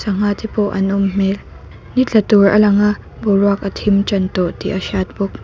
sangha te pawh an awm hmel ni tla tur a lang a boruak a thim tan tawh tih a hriat bawk.